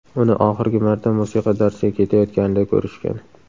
Uni oxirgi marta musiqa darsiga ketayotganida ko‘rishgan.